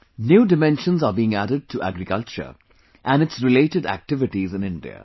new dimensions are being added to agriculture and its related activities in India